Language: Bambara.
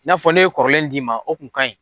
N'a fɔ ne e ye kɔrɔlen d'i ma o kun ka ɲi.